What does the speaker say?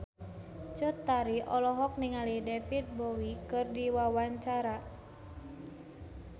Cut Tari olohok ningali David Bowie keur diwawancara